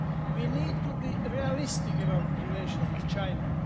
We need to be realistic about relations with China.